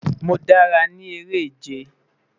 Mo dara ni ere-ije